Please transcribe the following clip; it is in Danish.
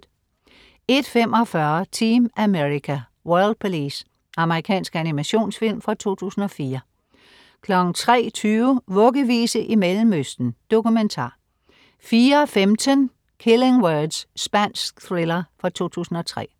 01.45 Team America: World Police. Amerikansk animationsfilm fra 2004 03.20 Vuggevise i Mellemøsten. Dokumentar 04.15 Killing Words. Spansk thriller fra 2003